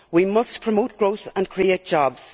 We must promote growth and create jobs.